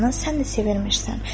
sən də sevinirsən.